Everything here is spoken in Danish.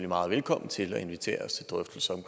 meget velkommen til at invitere os til drøftelser